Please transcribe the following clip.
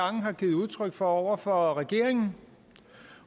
har givet udtryk for over for regeringen